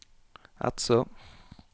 Eidså